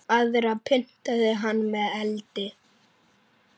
Aðra pyntaði hann með eldi.